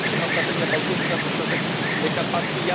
Jak się ma strategia bałtycka do strategii karpackiej?